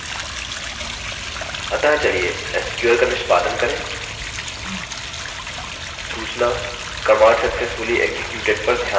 अतः चलिए sql का निष्पादन करें सूचना command successfully executed पर ध्यान दें